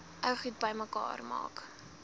ou goed bymekaar